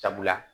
Sabula